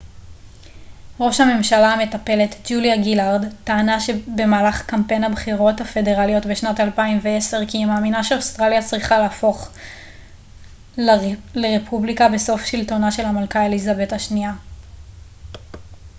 ראש הממשלה המטפלת ג'וליה גילארד טענה במהלך קמפיין הבחירות הפדרליות בשנת 2010 כי היא מאמינה שאוסטרליה צריכה להפוך לרפובליקה בסוף שלטונה של המלכה אליזבת השנייה